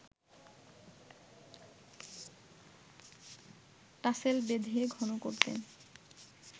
tassel বেঁধে ঘন করতেন